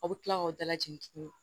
Aw bɛ tila k'aw dalajɛ tuguni